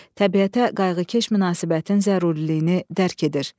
Təbiətə qayğıkeş münasibətin zəruriliyini dərk edir.